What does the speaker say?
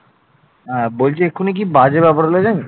হ্যাঁ বলছি এক্ষুনি কি বাজে ব্যাপার হল জানিস